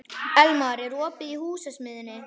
Elmar, er opið í Húsasmiðjunni?